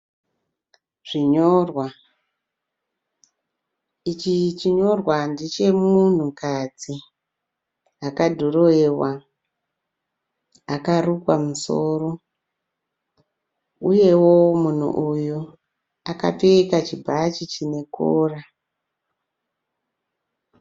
Zvinyorwa. Ichi chinyorwa ndechemunhukadzi akadhurowewa akarukwa musoro uyewo munhu uyu akapfeka chibhachi chine kora.